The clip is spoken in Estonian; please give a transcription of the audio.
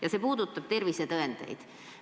Küsimus puudutab tervisetõendeid.